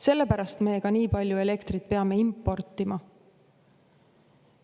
Sellepärast me ka nii palju elektrit peame importima.